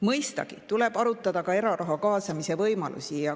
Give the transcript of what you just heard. Mõistagi tuleb arutada ka eraraha kaasamise võimalusi.